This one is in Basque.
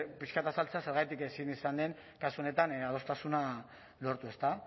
pixka bat azaltzea zergatik ezin izan den kasu honetan adostasuna lortu ezta